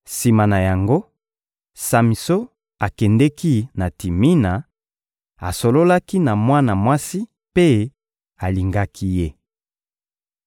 Sima na yango, Samison akendeki na Timina, asololaki na mwana mwasi mpe alingaki ye.